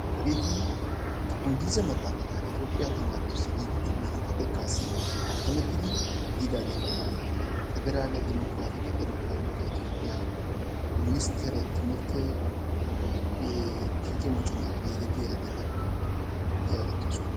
Hageeti Inggilize maxaafata Itoophphiya tamaaretussi giigidi 2ntta xekkaassi attamettidi yiidaageeta, Pederaale Dimokkiraatike Ireppabilike itoophphiya Minstteree timirtte kiike moconaappe yiidi diyageeta yaagettoosona.